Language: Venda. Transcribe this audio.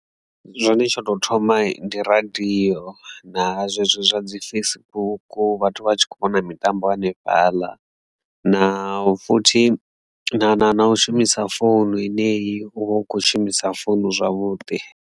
Zwone tsha u tou thoma ndi radio na zwezwi zwa dzi Facebook vhathu vha tshi kho vhona mitambo hanefhaḽa na futhi na na na u shumisa founu ineyi u vha u kho shumisa founu zwavhuḓi.